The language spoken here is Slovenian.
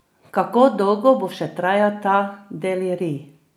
Kako dolgo bo še trajal ta delirij?